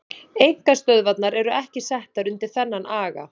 Einkastöðvarnar eru ekki settar undir þennan aga.